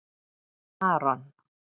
Maron